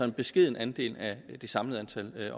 en beskeden andel af det samlede antal